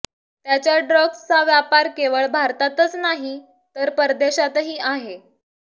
त्याच्या ड्रग्जचा व्यापर केवळ भारतातच नाही तर परदेशातही आहे